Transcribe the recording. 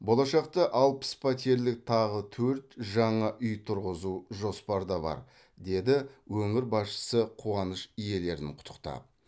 болашақта алпыс пәтерлік тағы төрт жаңа үй тұрғызу жоспарда бар деді өңір басшысы қуаныш иелерін құттықтап